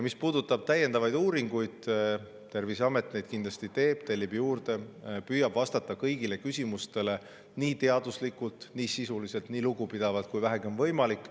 Mis puudutab täiendavaid uuringuid, siis Terviseamet neid kindlasti teeb, tellib juurde, püüab vastata kõigile küsimustele nii teaduslikult, nii sisuliselt, nii lugupidavalt, kui vähegi on võimalik.